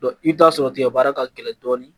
i bɛ t'a sɔrɔ tigɛbaara ka gɛlɛn dɔɔnin